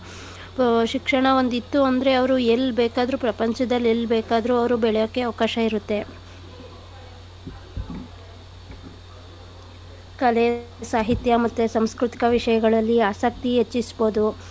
ಆ ಶಿಕ್ಷಣ ಒಂದ್ ಇತ್ತು ಅಂದ್ರೆ ಅವ್ರು ಎಲ್ ಬೇಕಾದ್ರು ಪ್ರಪಂಚದಲ್ ಎಲ್ ಬೇಕಾದ್ರು ಅವ್ರು ಬೆಳೆಯಕ್ಕೆ ಅವ್ಕಾಶ ಇರತ್ತೆ . ಕಲೆ, ಸಾಹಿತ್ಯ, ಮತ್ತೆ ಸಾಂಸ್ಕೃತಿಕ ವಿಷ್ಯಗಳಲ್ಲಿ ಆಸಕ್ತಿ ಹೆಚ್ಚಿಸ್ಬೋದು.